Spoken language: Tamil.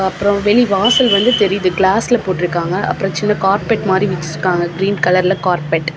அப்றம் வெளிவாசல் வந்து தெரியுது கிளாஸ்ல போட்ருக்காங்க அப்றம் சின்ன கார்பெட் மாறி விரிச்சிருக்காங்க க்ரீன் கலர்ல கார்பெட் .